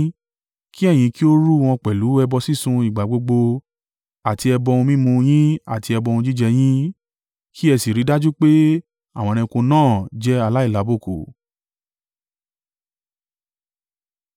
Kí ẹ̀yin kí ó rú wọn pẹ̀lú ẹbọ sísun ìgbà gbogbo, àti ẹbọ ohun mímu yín àti ẹbọ ohun jíjẹ yín. Kí ẹ sì ri dájú pé àwọn ẹranko náà jẹ́ aláìlábùkù.